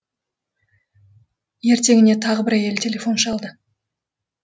ертеңіне тағы бір әйел телефон шалды